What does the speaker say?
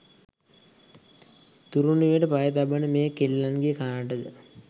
තුරුණු වියට පය තබන මේ කෙල්ලන්ගේ කනටද